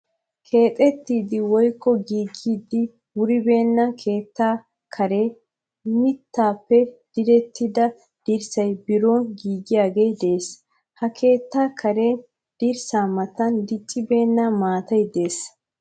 Keexxettiddi woykko giigiddi wuribenne keetta karen mittappe direttidda dirssay biron giiggiyage de'ees. Ha keetta karen dirssa matan diccibenna maatay de'ees.